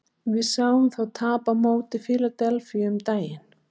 Við sáum þá tapa á móti Fíladelfíu um daginn.